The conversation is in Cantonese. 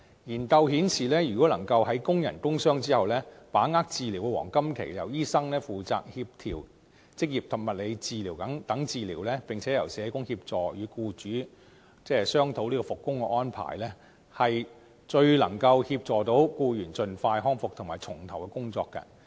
研究顯示，工人因工受傷後如果能夠把握治療黃金期，由醫生負責協調職業及物理治療，並且由社工協助與僱主商討復工安排，最能協助僱員盡快康復及重投工作。